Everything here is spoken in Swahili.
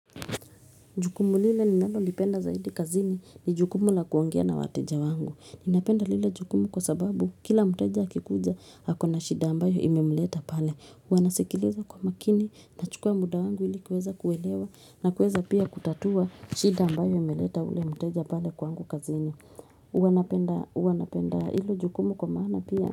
Jukumu lile ninalolipenda zaidi kazini ni jukumu la kuongea na wateja wangu. Ninapenda lile jukumu kwa sababu kila mteja akikuja ako na shida ambayo imemleta pale. Huwa nasikiliza kwa makini, nachukua muda wangu ili kuweza kuelewa na kuweza pia kutatua shida ambayo imeleta ule mteja pale kwangu kazini. Huwa napenda hilo jukumu kwa maana pia.